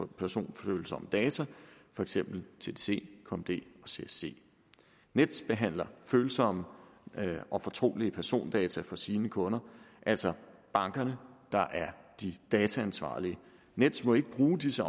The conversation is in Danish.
personfølsomme data for eksempel tdc kmd og csc nets behandler følsomme og fortrolige persondata for sine kunder altså bankerne der er de dataansvarlige nets må ikke bruge disse